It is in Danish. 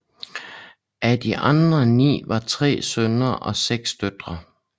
Af de andre 9 var 3 sønner og 6 døtre